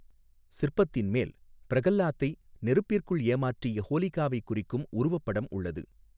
சிற்பத்தின் மேல் பிரகலாத்தை நெருப்பிற்குள் ஏமாற்றிய ஹோலிகாவை குறிக்கும் உருவப்படம் உள்ளது.